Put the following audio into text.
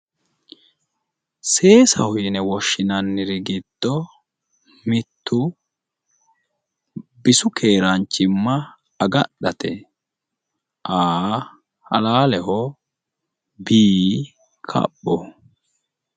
Seesaho yine woshshinanniri giddo mittu bisu seesa afadhate A, halaaleho B, kaphoho.